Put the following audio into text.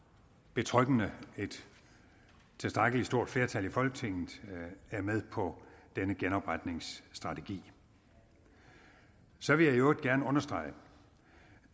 betryggende et tilstrækkelig stort flertal i folketinget er med på denne genopretningsstrategi så vil jeg i øvrigt gerne understrege